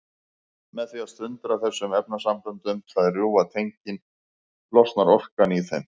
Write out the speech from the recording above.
Með því að sundra þessum efnasamböndum, það er rjúfa tengin, losnar orkan í þeim.